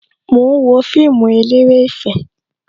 Mo ń wo fíìmù eléré ìfẹ́